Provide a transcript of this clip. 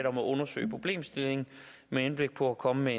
om at undersøge problemstillingen med henblik på at komme med